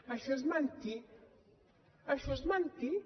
això és mentir això és mentir